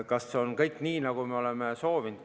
Kas kõik on nii, nagu me oleme soovinud?